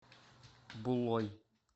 булой